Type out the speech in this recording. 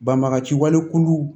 Banbagaciwale kulu